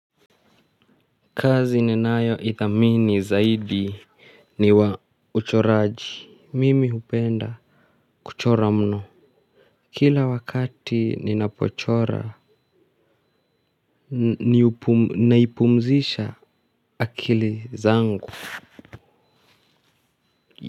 Kazi ninayoithamini zaidi ni wa uchoraji mimi hupenda kuchora mno. Kila wakati ninapochora ninaipumzisha akili zangu.